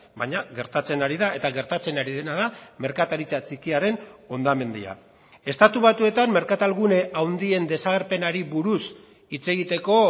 baina gertatzen ari da eta gertatzen ari dena da merkataritza txikiaren hondamendia estatu batuetan merkatal gune handien desagerpenari buruz hitz egiteko